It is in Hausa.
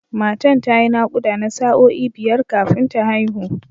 Matan ta yi naƙuda na sa’o’i biyar kafin ta haihu.